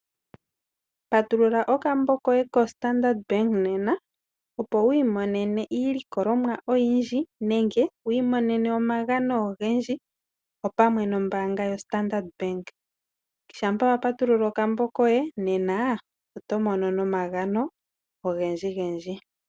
Patulula okambo koye koStandard Bank nena opo wi imonene iilikolomwa oyindji nenge wi imonene omagano ogendji opamwe nombanga yoStandard Bank. Shampa wa patulula okambo koye nena oto mono no omagano ogendji gendji.